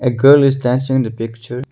A girl is dancing in the picture.